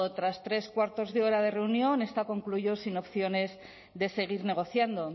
tras tres cuartos de hora de reunión esta concluyó sin opciones de seguir negociando